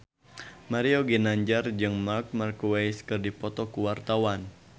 Mario Ginanjar jeung Marc Marquez keur dipoto ku wartawan